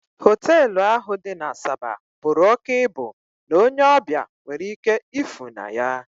Hotelu ahụ dị n'Asaba bụrụ òkè ịbụ n'onye ọbịa nwere ike ịfụ na ya